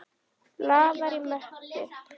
Blaðar í möppu.